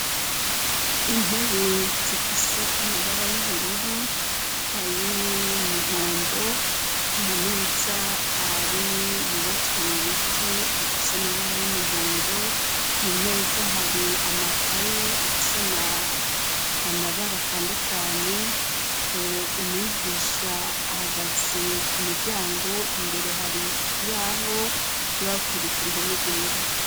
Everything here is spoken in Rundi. Intebe zifise amabara y'ubururu ayo umuhondo amameza ari yubatswe mu biti afise amabara y'umuhondo ku mameza hari amakaye afise amabara atandukanye umwie gisha ahagaze ku muryango imbere hari ikibahoryo bakwirieka ruhome rwera.